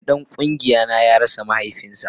Wani dan kungiya na ya rasa mahaifinsa